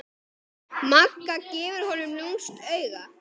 Magga gefur honum lúmskt auga.